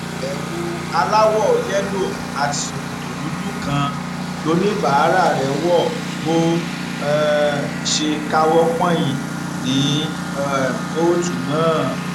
ewu aláwọ yẹlò àti ṣòkòtò dúdú kan lọníbàárà rẹ wo bó um ṣe káwọ pọnyìn ní um kóòtù náà